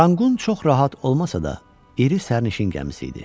Ranqqun çox rahat olmasa da, iri sərnişin gəmisi idi.